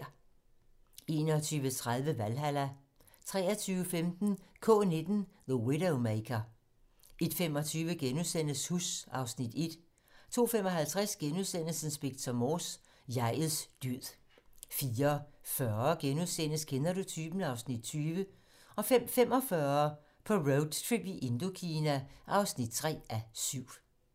21:30: Valhalla 23:15: K-19. The Widowmaker 01:25: Huss (Afs. 1)* 02:55: Inspector Morse: Jeg'ets død * 04:40: Kender du typen? (Afs. 20)* 05:45: På roadtrip i Indokina (3:7)